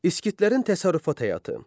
İskitlərin təsərrüfat həyatı.